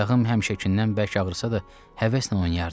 Ayağım həmişəkindən bərk ağrısa da, həvəslə oynayardım.